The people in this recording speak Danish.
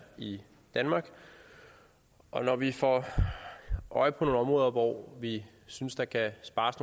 i danmark og når vi får øje på nogle områder hvor vi synes der kan spares